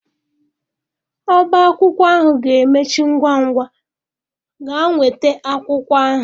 Ọbá akwụkwọ ahụ ga-emechi ngwa ngwa gaa nweta akwụkwọ ahụ.